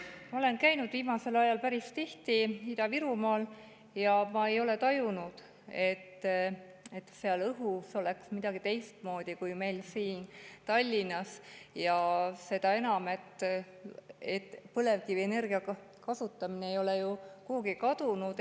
Ma olen viimasel ajal päris tihti käinud Ida-Virumaal ja ma ei ole tajunud, et seal õhus oleks midagi teistmoodi kui meil siin Tallinnas, kuigi põlevkivienergia kasutamine ei ole ju kuhugi kadunud.